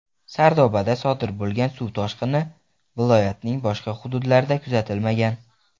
Sardobada sodir bo‘lgan suv toshqini viloyatning boshqa hududlarida kuzatilmagan.